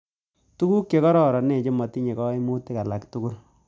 Tuguk che kararanen che matinye kaimutik alak tugul